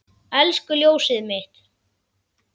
Elsku ljósið mitt.